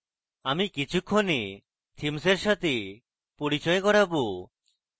আমি কিছুক্ষণে themes এর সাথে পরিচয় করাবো